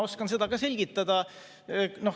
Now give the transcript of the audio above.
Ma oskan seda ka selgitada.